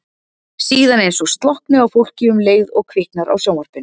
Síðan eins og slokkni á fólki um leið og kviknar á sjónvarpinu.